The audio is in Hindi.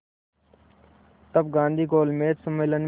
तब गांधी गोलमेज सम्मेलन में